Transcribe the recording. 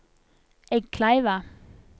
Eggkleiva